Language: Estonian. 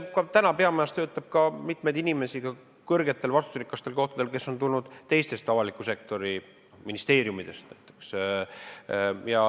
Praegu töötab peamajas mitmeid inimesi – ka kõrgetel vastutusrikastel kohtadel –, kes on tulnud näiteks teistest avaliku sektori ministeeriumidest.